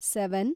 seven